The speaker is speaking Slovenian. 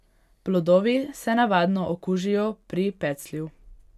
Plodovi se navadno okužijo pri peclju.